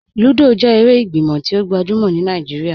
Lúdọ́ jẹ èrè ìgbímọ̀ tí o gbajúmọ̀ ní Naijíríà.